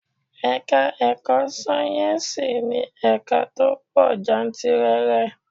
Ẹ̀ka-ẹ̀kọ́ sáyẹ́nsì ní ẹ̀ka tó pọ̀ jantìrẹrẹ.